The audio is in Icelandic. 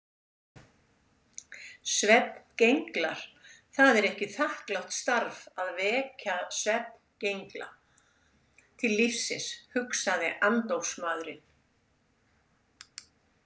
Svefngenglar Það er ekki þakklátt starf að vekja svefngengla til lífsins, hugsaði andófsmaðurinn.